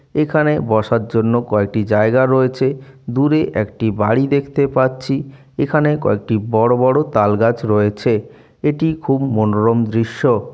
এখানে বসার জন্য কয়টি জায়গা রয়েছে। দূরে একটি বাড়ি দেখতে পাচ্ছি এখানে কয়েকটি বড় বড় তালগাছ রয়েছে । এটি খুব মনোরম দৃশ্য।